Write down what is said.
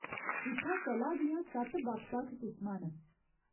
इत्थै कला दियां सत्त बक्ख बक्ख किसमां न।